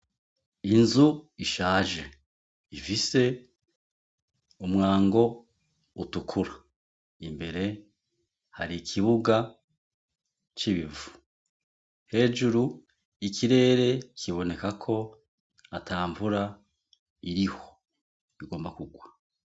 N'inzu ishaje ifise umwango utukura, imbere hari ikibuga c'ibivu ,hejuru ikirere kiboneka ko ata mvura iriho igomba kugwa.